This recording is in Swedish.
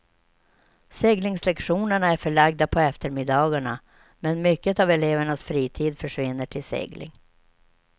Seglingslektionerna är förlagda på eftermiddagarna, men mycket av elevernas fritid försvinner till segling.